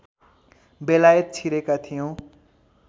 बेलायत छिरेका थियौँ